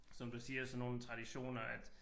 Som du siger sådan nogle traditioner at